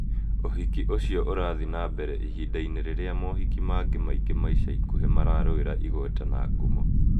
Ũhiki ũcio ũrathiĩ na mbere ihinda-inĩ rĩrĩa mohiki mangĩ maingĩ ma ica ikuhĩ mararũĩra igweta na ngumo.